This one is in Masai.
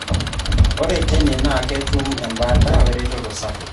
Ore teine na ketum embataa weretoto sapuk.